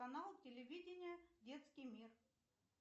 канал телевидения детский мир